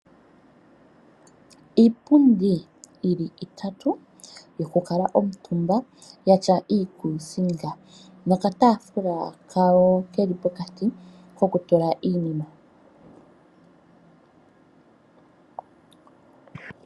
Iipundi yili itatu, yokukala omutumba yatya iikuusinga, nokatafula kawo keli pokati kokutula iinima.